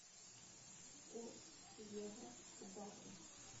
курс евро к бату